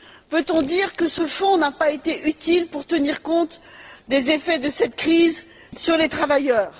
Peut on dire que ce fonds n'a pas été utile pour tenir compte des effets de cette crise sur les travailleurs?